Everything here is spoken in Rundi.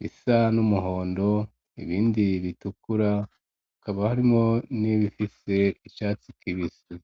bisa n'umuhondo ibindi bitukura bikaba harimwo n'ibifise icatsi kibisi.